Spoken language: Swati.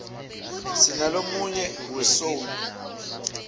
sinalomuye we soul